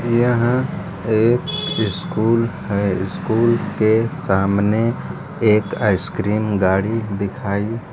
यह एक स्कूल है स्कूल के सामने एक आइस क्रीम गाड़ी दिखाई--